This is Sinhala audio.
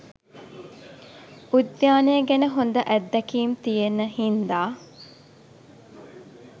උද්‍යානය ගැන හොඳ අත්දැකීම් තියෙන්න හින්ද.